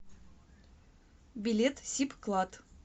билет сибклад